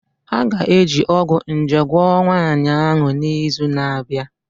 A ga-eji ọgwụ nje gwọọ nwanyị ahụ n'izu na-abịa